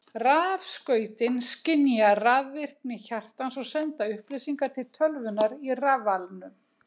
Rafskautin skynja rafvirkni hjartans og senda upplýsingar til tölvunnar í rafalnum.